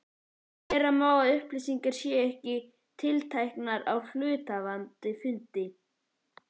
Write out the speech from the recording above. Vera má að upplýsingar séu ekki tiltækar á hluthafafundi.